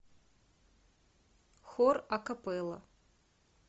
хор акапелла